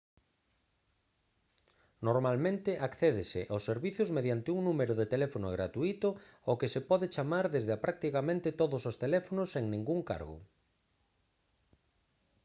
normalmente accédese aos servizos mediante un número de teléfono gratuíto ao que se pode chamar desde a practicamente todos os teléfonos sen ningún cargo